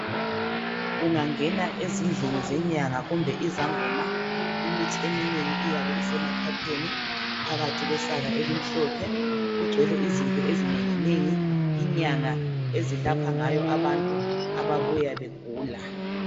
Ungangena ezindlini zenyanga kumbe izangoma imithi iyabe iseMaphepheninphakathi kwesaka elimhlophe kugcwele izinto ezinenginengi inyanga ezelapha ngazo abantu ababuya begula.